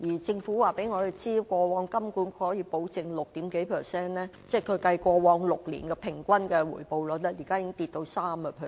政府告訴我們，過往金管局可以保證六點幾個百分點的回報率，現時已下跌至 3%。